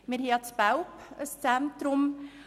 Wir haben in Belp ein Zentrum.